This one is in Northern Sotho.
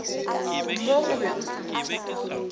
mo o be o sa